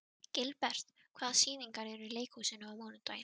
Gilbert, hvaða sýningar eru í leikhúsinu á mánudaginn?